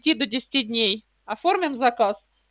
пяти до десяти дней оформим заказ